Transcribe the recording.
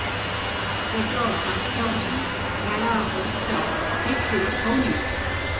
ପେଟ ଫାମ୍ପି ଯାଉଛି ଝାଡ଼ା ପରିସ୍ରା ଠିକ ସେ ହଉନି